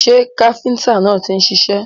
Ṣé káfíntà náà ti ń ṣiṣẹ́?